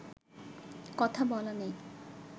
কথা বলা নেই